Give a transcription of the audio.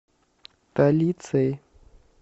талицей